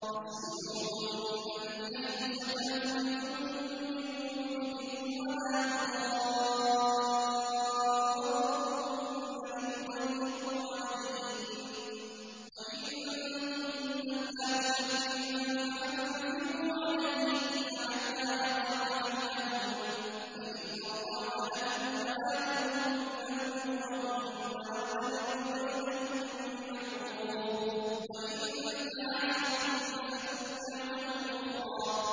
أَسْكِنُوهُنَّ مِنْ حَيْثُ سَكَنتُم مِّن وُجْدِكُمْ وَلَا تُضَارُّوهُنَّ لِتُضَيِّقُوا عَلَيْهِنَّ ۚ وَإِن كُنَّ أُولَاتِ حَمْلٍ فَأَنفِقُوا عَلَيْهِنَّ حَتَّىٰ يَضَعْنَ حَمْلَهُنَّ ۚ فَإِنْ أَرْضَعْنَ لَكُمْ فَآتُوهُنَّ أُجُورَهُنَّ ۖ وَأْتَمِرُوا بَيْنَكُم بِمَعْرُوفٍ ۖ وَإِن تَعَاسَرْتُمْ فَسَتُرْضِعُ لَهُ أُخْرَىٰ